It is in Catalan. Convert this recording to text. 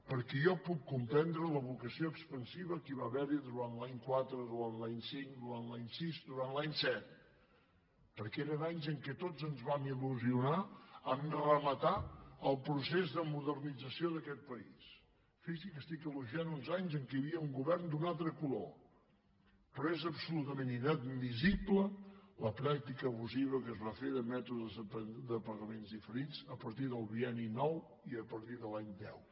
perquè jo puc comprendre la vocació expansiva que hi va haver durant l’any quatre durant l’any cinc durant l’any sis durant l’any set perquè eren anys en què tots ens vam il·ció d’aquest país fixi’s que estic elogiant uns anys en què hi havia un govern d’un altre color però és absolutament inadmissible la pràctica abusiva que es va fer de mètodes de pagament diferits a partir del bienni nou i a partir de l’any deu